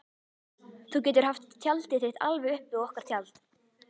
Þú getur haft tjaldið þitt alveg upp við okkar tjald.